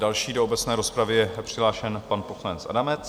Další do obecné rozpravy je přihlášen pan poslanec Adamec.